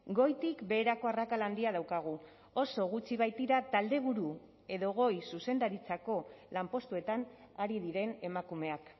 goitik beherako arrakala handia daukagu oso gutxi baitira taldeburu edo goi zuzendaritzako lanpostuetan ari diren emakumeak